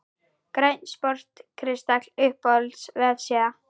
Grænn sport kristall Uppáhalds vefsíða?